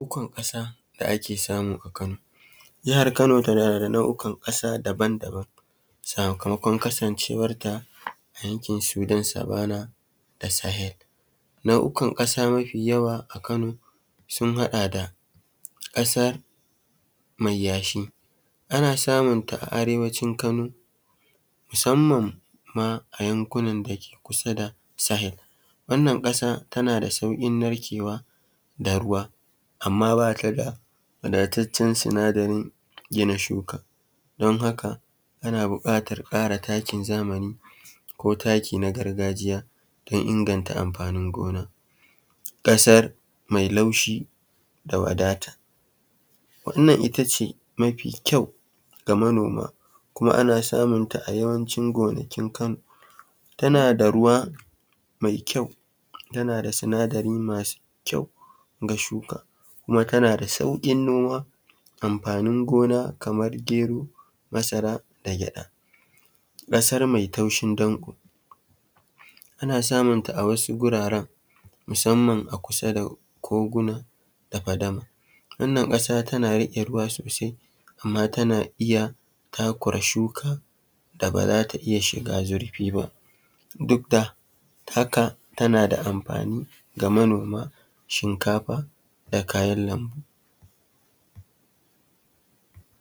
Nau’ukan ƙasa da ake samu a Kano. Jahar Kano tana da nau’ukan ƙasa daban-daban sakamakon kasancewar ta a yankin sudan savana da sahel. Nau’ukun ƙasa mafi yawa a Kano sun haɗa da ƙasa mai yashi; ana samun ta a arewacin Kano musamman ma a yankunan da ke kusa da sahel. Wannan ƙasa tana da sauƙin narkewa da ruwa amma bata da wadataccen sinadarin gina shuka, don haka ana buƙatar ƙara takin zamani ko takin na gargajiya don inganta amfanin gona. Ƙasar mai laushi da wadata: Wannan itace mafi kyau ga manoma kuma ana samunta a yawancin gonakin Kano. Tana da ruwa mai kyau, tana da sinadari masu kyau ga shuka kuma tana da sauƙin noma, amfanin gona kamar gero, masara, da gyaɗa. Ƙasar mai taushin danƙo: Ana samun ta a wasu guraren musamman a kusa da koguna, da fadama. Wannan ƙasa tana riƙe ruwa sosai amma tana iya takura shuka da ba za ta iya shiga zurfi ba duk da haka tana da amfani ga manoma shinkafa da kayan lambu.